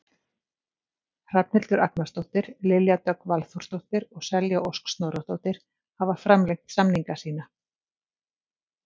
Hrafnhildur Agnarsdóttir, Lilja Dögg Valþórsdóttir og Selja Ósk Snorradóttir hafa framlengt samninga sína.